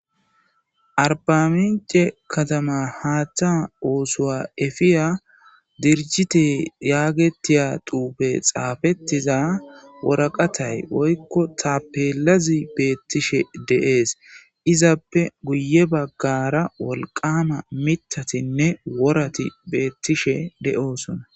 arbamince katama haaththa oosuwa efiya dirjite yaagetiya tuupe xaafettiza woraqatay oykko tapeelazi beettishe deees izappe guye baggara wolqama mitatinne worati beettishe de7osona